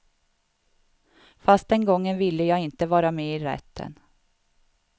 Fast den gången ville jag inte vara med i rätten.